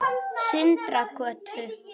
Sindragötu